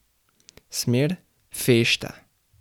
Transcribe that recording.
Smer: 'Fešta'.